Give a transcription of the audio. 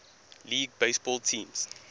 league baseball teams